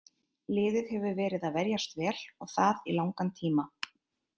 Liðið hefur verið að verjast vel og það í langan tíma.